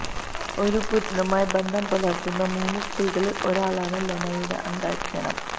ഒരു പുരുഷനുമായി ബന്ധം പുലര്ത്തുന്ന മൂന്ന് സ്ത്രീകളില് ഒരാളാണ് ലെനയുടെ അന്തര്ജനം